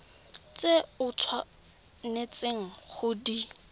tse o tshwanetseng go di